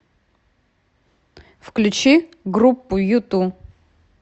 включи группу юту